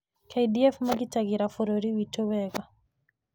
KDF magitagĩra bũrũri witũ wega.